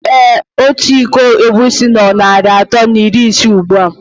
Ee Ọtu ịkọ egwusi nó na narị atọ na iri ise ugbua.